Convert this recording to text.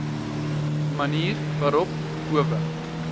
manier waarop howe